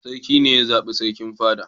Sarki ne ya zaɓi sarkin fada.